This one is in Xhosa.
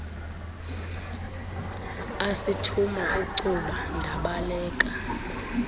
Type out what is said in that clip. asithuma icuba ndabaleka